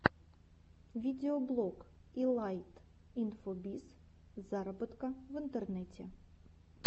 видеоблог илайт инфобиз зароботока в интернете